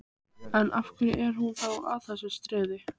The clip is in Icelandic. En, af hverju er hún þá að þessu streði?